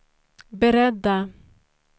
beredda